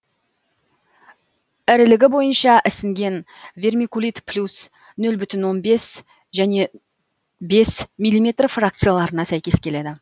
ірілігі бойынша ісінген вермикулит плюс нөл бүтін он бес және бес миллиметр фракцияларына сәйкес келеді